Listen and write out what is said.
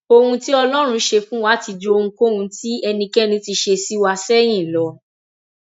ohun tí ọlọrun ṣe fún wa ti ju ohunkóhun tí ẹnikẹni ti ṣe sí wa sẹyìn lọ